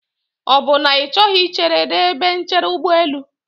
Ọ bụ na Ị chọghị ichere n'ebe nchere ụgbọelụ?